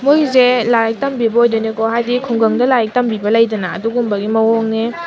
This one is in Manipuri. ꯂꯥꯏꯔꯤꯛ ꯇꯝꯕꯤꯕ ꯑꯣꯏꯗꯣꯏꯅꯦꯀꯣ ꯍꯥꯏꯗꯤ ꯈꯨꯡꯒꯡꯗ ꯂꯥꯏꯔꯤꯛ ꯇꯝꯕꯤꯕ ꯂꯩꯗꯅ ꯑꯗꯨꯒꯨꯝꯕꯒꯤ ꯃꯥꯑꯣꯡꯅꯦ꯫